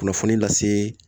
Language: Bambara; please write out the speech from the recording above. Kunnafoni lase